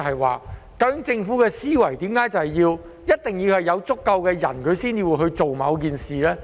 為何政府的思維一定是要有足夠的人口，才會去做某件事呢？